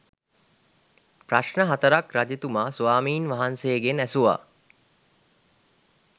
ප්‍රශ්න හතරක් රජතුමා ස්වාමීන් වහන්සේගෙන් ඇසුවා.